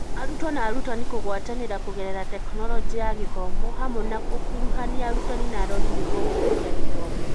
Arutwo na arutani kũgwatanĩra kũgerera Tekinoronjĩ ya Gĩthomo hamwe na gũkuruhania arutani na arori nĩguo gũkũria gĩthomo.